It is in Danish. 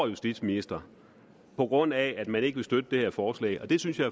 justitsministeren på grund af at man ikke vil støtte det her forslag og det synes jeg